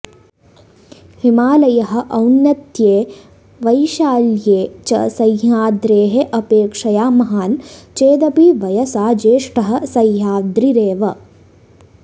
हिमालयः औन्नत्ये वैशाल्ये च सह्याद्रेः अपेक्षया महान् चेदपि वयसा ज्येष्ठः सह्याद्रिरेव